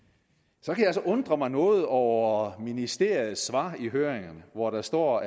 så kan jeg altså undre mig noget over ministeriets svar i høringen hvor der står